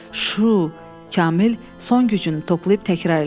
Şu, Kamil son gücünü toplayıb təkrar elədi.